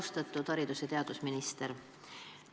Austatud haridus- ja teadusminister!